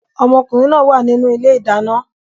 Ọmọkùnrin náà wà nínú ilé-ìdáná